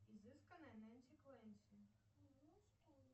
изысканная нэнси клэнси